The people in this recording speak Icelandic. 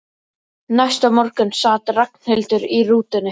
Næsta morgun sat Ragnhildur í rútunni.